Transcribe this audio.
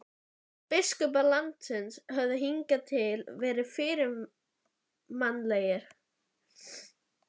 Biskupar landsins höfðu hingað til verið fyrirmannlegir.